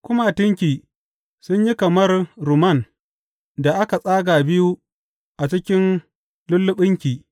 Kumatunki sun yi kamar rumman da aka tsaga biyu a cikin lulluɓinki.